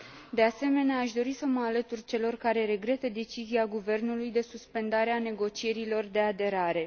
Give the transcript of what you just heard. De asemenea, aș dori să mă alătur celor care regretă decizia Guvernului de suspendare a negocierilor de aderare.